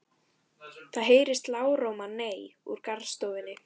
Það heyrist lágróma nei úr garðstofunni.